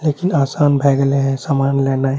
लेकिन आसान भय गेले है समान लेनाइ।